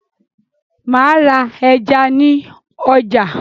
Màá ra ẹja ní ọjà